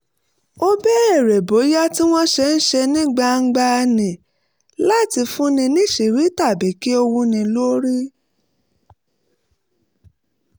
ó béèrè bóyá ohun tí wọ́n ń ṣe ní gbangba ní láti fúnni níṣìírí tàbí kí ó wúni lórí